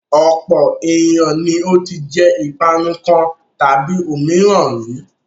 Ọ̀pọ̀ ènìyàn ni ó ti jẹ ìpanu kan tàbí òmíràn rí.